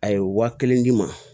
A ye waa kelen d'i ma